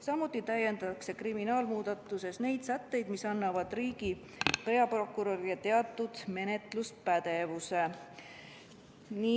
Samuti täiendatakse kriminaalmenetluse seadustikus neid sätteid, mis annavad riigi peaprokurörile teatud menetluspädevuse.